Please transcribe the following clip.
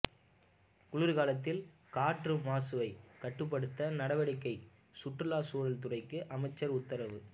குளிா்காலத்தில் காற்று மாசுவைக் கட்டுப்படுத்த நடவடிக்கைசுற்றுச் சூழல் துறைக்கு அமைச்சா் உத்தரவு